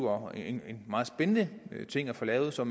og en meget spændende ting at få lavet så